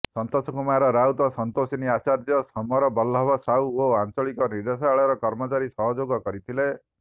ସନ୍ତୋଷ କୁମାର ରାଉତ ସନ୍ତୋଷିନୀ ଆଚାର୍ଯ୍ୟ ସମର ବଲ୍ଲଭ ସାହୁ ଓ ଆଞ୍ଚଳିକ ନିର୍ଦ୍ଦେଶାଳୟର କର୍ମଚାରୀ ସହଯୋଗ କରିଥିଲେ